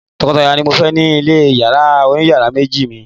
tokotaya ni mo fe ya ni ile oniyaara meji mi